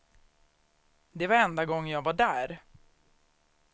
Det var enda gången jag var där.